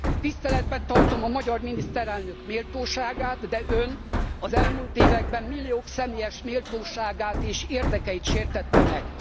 Tiszteletben tartom a magyar miniszterelnök méltóságát, de Ön az elmúlt években milliók személyes méltóságát és érdekeit sértette meg.